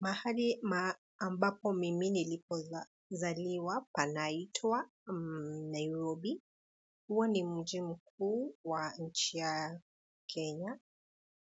Mahali ambapo mimi nilipo zaliwa panaitwa Nairobi. Huo ni mji mkuu wa nchi ya Kenya.